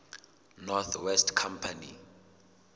north west company